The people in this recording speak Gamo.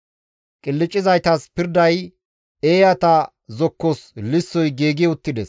Qilccizaytas pirday, eeyata zokkos lissoy giigi uttides.